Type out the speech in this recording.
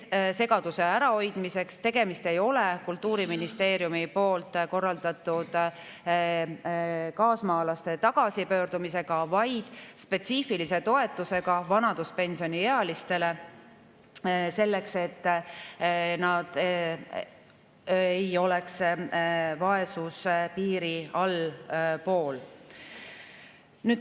Segaduse ärahoidmiseks: tegemist ei ole Kultuuriministeeriumi korraldatud kaasmaalaste tagasipöördumise, vaid spetsiifilise toetusega vanaduspensioniealistele, selleks et nad ei jääks vaesuspiirist allapoole.